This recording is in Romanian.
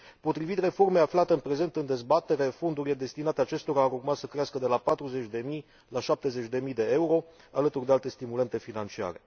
Potrivit reformei aflate în prezent în dezbatere, fondurile destinate acestora ar urma să crească de la 40 de mii la 70 de mii de euro, alături de alte stimulente financiare.